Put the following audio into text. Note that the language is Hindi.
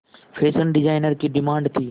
फैशन डिजाइनर की डिमांड थी